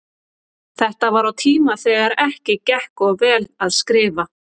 Þetta var á tíma þegar ekki gekk of vel að skrifa.